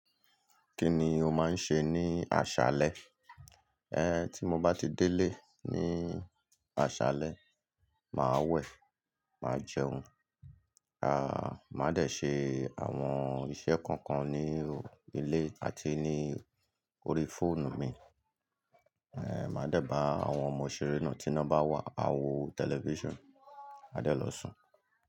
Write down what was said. Kí ni o máa ń ṣe ní aṣálẹ́? Ẹn, tí mo bá ti délé ní aṣálẹ́, màá wẹ̀, màá jẹun, à máa dẹ̀ ṣe àwọn iṣẹ́ kọ̀ọ̀kan ní ilé àti ní orí fóònù mi. Ẹn, màá dẹ̀ bá àwọn ọmọ̀ ṣeré náà tí ina bá wà, a wo tẹlifíṣàn, a dẹ̀ lọ sùn.